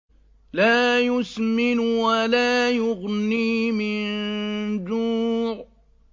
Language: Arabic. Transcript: لَّا يُسْمِنُ وَلَا يُغْنِي مِن جُوعٍ